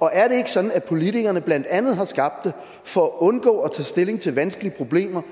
og er det ikke sådan at politikerne blandt andet har skabt den for at undgå at tage stilling til vanskelige problemer